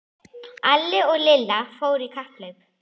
Alli og Lilla fóru í kapphlaup.